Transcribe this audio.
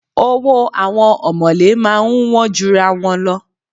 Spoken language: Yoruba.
Owó àwọn ọ̀mọ̀lé máa ń wọ́n jura wọn lọ.